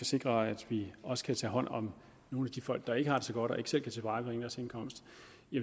sikre at vi også kan tage hånd om nogle af de folk der ikke har det så godt og ikke selv kan tilvejebringe deres indkomst